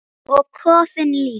Og kofinn líka!